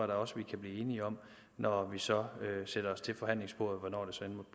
da også vi kan blive enige om når vi så sætter os til forhandlingsbordet hvornår